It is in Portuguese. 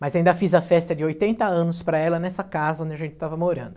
Mas ainda fiz a festa de oitenta anos para ela nessa casa onde a gente estava morando.